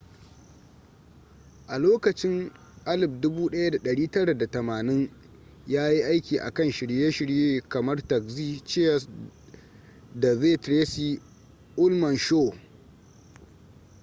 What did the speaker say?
a lokacin 1980s yayi aiki a kan shirye-shirye kamar taxi cheers da the tracy ullman show